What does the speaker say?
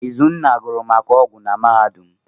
Izunna gụrụ maka ọgwụ na mahadum.